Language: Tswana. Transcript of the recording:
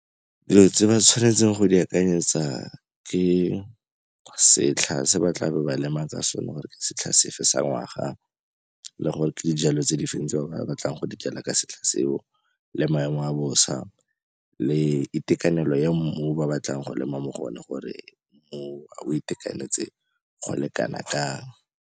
Dilo tse ba tshwanetseng go di akanyetsa ke setlha se ba tla be ba lema ka sone gore ke setlha sefe sa ngwaga, le gore ke dijalo tse di fe tse ba ba batlang go dijala ka setlha seo, le maemo a bosa le itekanelo ya mmu o ba batlang go lema mo go one gore mmu oo o itekanetse go le kana kang.